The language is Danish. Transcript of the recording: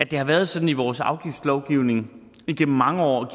det har været sådan i vores afgiftslovgivning igennem mange år og